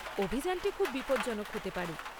অভিযানটি খুব বিপদজনক হতে পারে।